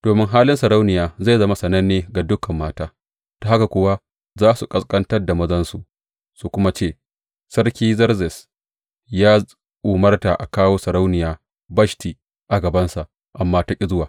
Domin halin Sarauniya zai zama sananne ga dukan mata, ta haka kuwa za su ƙasƙantar da mazansu su kuma ce, Sarki Zerzes ya umarta a kawo Sarauniya Bashti a gabansa, amma ta ƙi zuwa.’